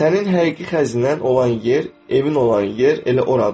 Sənin həqiqi xəzinən olan yer, evin olan yer elə oradır.